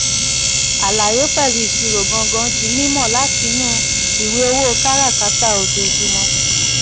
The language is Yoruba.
àlàyé pẹ̀lú ìṣirò gangan di mímọ̀ láti inú ìwé owó káràkátà ojoojúmọ́.